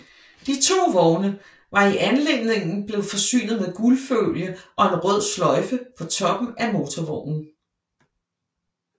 De to vogne var i anledningen blevet forsynet med guldfolie og en rød sløjfe på toppen af motorvognen